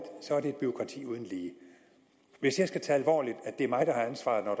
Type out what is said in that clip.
er det et bureaukrati uden lige hvis jeg skal tage alvorligt at det er mig der har ansvaret når